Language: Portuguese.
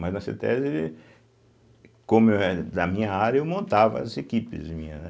Mas na cêtésbe, como é da minha área, eu montava as equipes minhas, né?